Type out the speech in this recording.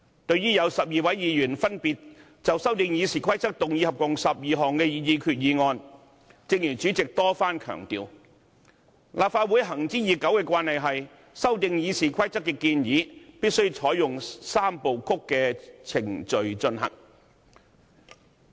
對於有12位議員分別就修訂《議事規則》動議合共12項擬議決議案，正如主席多番強調，立法會行之已久的慣例是，修訂《議事規則》的建議必須採用"三部曲"程序進行。